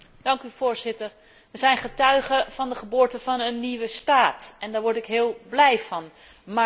Wij zijn getuige van de geboorte van een nieuwe staat en daar word ik heel blij van, maar ook bezorgd.